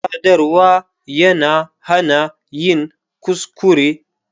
Sadarwa yana hana yin kuskure.